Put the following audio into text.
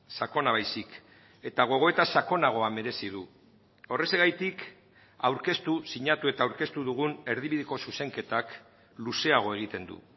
sakona baizik eta gogoeta sakonagoa merezi du horrexegatik aurkeztu sinatu eta aurkeztu dugun erdibideko zuzenketak luzeago egiten du